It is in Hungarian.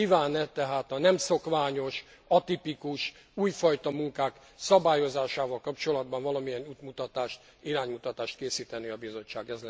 Kíván e tehát a nem szokványos, atipikus, újfajta munkák szabályozásával kapcsolatban valamilyen útmutatást, iránymutatást készíteni a Bizottság?